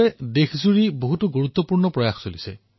দেশৰ বিভিন্ন স্থানত বিভিন্ন পদক্ষেপো গ্ৰহণ কৰা হৈছে